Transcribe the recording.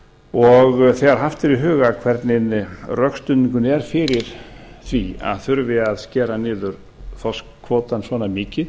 og þegar haft er í huga hvernig rökstuðningurinn er fyrir því að þurfi að skera niður þorskkvótann svona